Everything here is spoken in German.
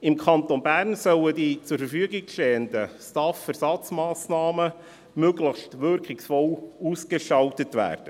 Im Kanton Bern sollen die zur Verfügung stehenden STAF-Ersatzmassnahmen möglichst wirkungsvoll ausgestaltet werden.